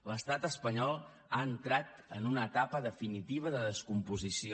l’estat espanyol ha entrat en una etapa definitiva de descomposició